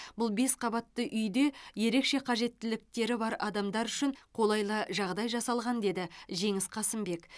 бұл бес қабатты үйде ерекше қажеттіліктері бар адамдар үшін қолайлы жағдай жасалған деді жеңіс қасымбек